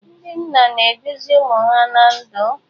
Ndị nna na-eduzi ụmụ ha ná ndụ.